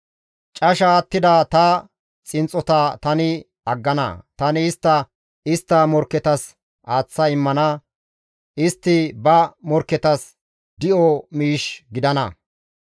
Casha attida ta xinxxota tani aggana; tani istta istta morkketas aaththa immana; istti ba morkketas di7o miish gidana.